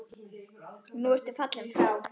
Nú ertu fallinn frá.